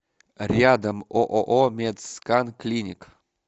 рядом ооо медскан клиник